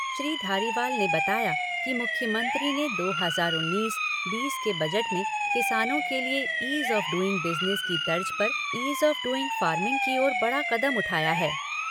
श्री धारीवाल ने बताया कि मुख्यमंत्री ने दो हज़ार उन्नीस और बीस के बजट में किसानों के लिए ईज़ ऑफ़ डूइंग बिजनेस की तर्ज पर ईज ऑफ़ डूइंग फ़ार्मिंग की ओर बड़ा कदम उठाया है।